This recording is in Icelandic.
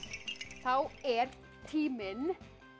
þá er tíminn